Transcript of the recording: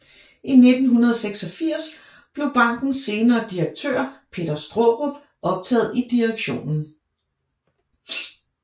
I 1986 blev bankens senere direktør Peter Straarup optaget i direktionen